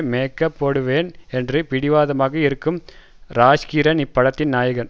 makeup போடுவேன் என்று பிடிவாதமாக இருக்கும் ராஜ்கிரண் இப்படத்தின் நாயகன்